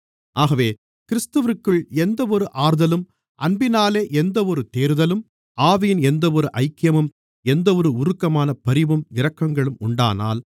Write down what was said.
ஆகவே கிறிஸ்துவிற்குள் எந்தவொரு ஆறுதலும் அன்பினாலே எந்தவொரு தேறுதலும் ஆவியின் எந்தவொரு ஐக்கியமும் எந்தவொரு உருக்கமான பரிவும் இரக்கங்களும் உண்டானால்